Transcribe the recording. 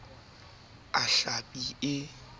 a saense a hlapi e